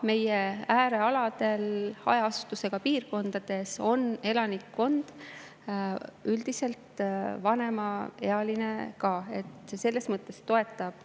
Meie äärealadel hajaasustusega piirkondades on elanikkond üldiselt vanemaealine ja selles mõttes see toetab